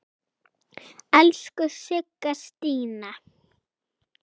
Elsku Sigga Stína.